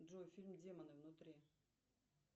джой фильм демоны внутри